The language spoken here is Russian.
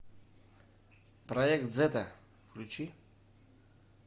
проект зета включи